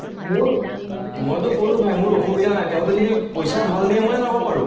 মোৰ, মইটো কলো ভাই মোৰ অসুবিধা নাই, তেহেঁতি যদি পইচা ভাল দিয়ে মই যাব পাৰো।